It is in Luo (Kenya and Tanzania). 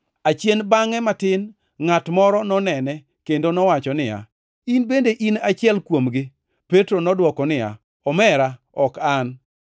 Achien bangʼe matin, ngʼat moro nonene kendo nowacho niya, “In bende in achiel kuomgi.” Petro nodwoko niya, “Omera, ok an.”